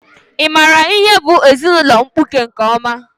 Ị maara ihe bụ ezinaụlọ mkpuke nke ọma?